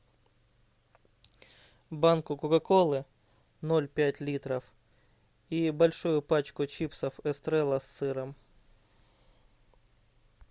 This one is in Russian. банку кока колы ноль пять литров и большую пачку чипсов эстрелла с сыром